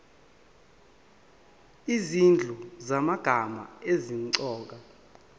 izinhlu zamagama asemqoka